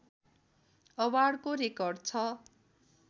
अवार्डको record छ